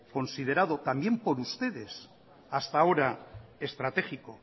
considerado también por ustedes hasta ahora estratégico